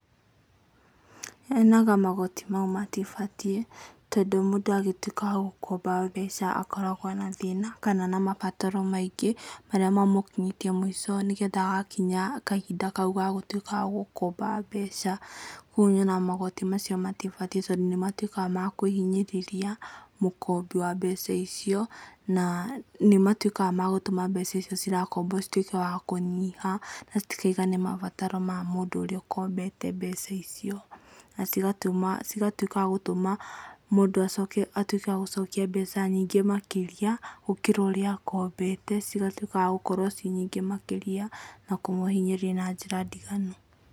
Nyonaga magoti mau matibatiĩ, tondũ mũndũ agĩtuika wa gũkomba mbeca akoragwo na thĩna, kana na mabataro maingĩ, marĩa mamũkinyĩtie mũico nĩgetha agakinya kahinda kau gagũtuĩka gagũkomba mbeca. Ũguo nyonaga magoti macio matibatiĩ tondũ nĩ matuĩkaga makũhinyĩrĩria, mũkombi wa mbeca icio, na nĩ matuĩkaga magũtũma mbeca icio cirakombwo cituĩke wakũnyiha na citikaigane mabataro mamũndũ ũrĩa ũkombete mbeca icio. Na cigatũma, cigatuĩka wa gũtũma mũndũ atuĩke wa gũcokia mbeca nyingĩ makĩria, gũkĩra ũrĩa akombete, cigatuĩke wa gũkorwo ciĩ nyingĩ makĩria, na kũmũhinyĩrĩria na njĩra ndiganu.